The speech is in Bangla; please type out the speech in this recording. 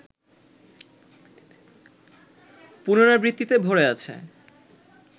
পুনরাবৃত্তিতে ভরে আছে